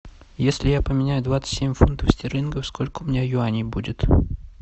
если я поменяю двадцать семь фунтов стерлингов сколько у меня юаней будет